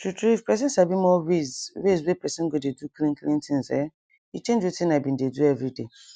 true true if pesin sabi more ways ways wey pesin go dey do clean clean things um e change wetin i bin dey do everyday